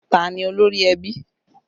Ta ni olórí ẹbí?